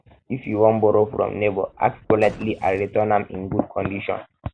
if you wan borrow from neighbor ask politely and return am in good condition